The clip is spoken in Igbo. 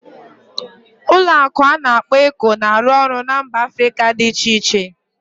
Ụlọ akụ ana akpo Eco na-arụ ọrụ na mba Africa dị iche iche